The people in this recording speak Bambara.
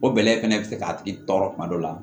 O bɛlɛ fɛnɛ bɛ se k'a tigi tɔɔrɔ kuma dɔ la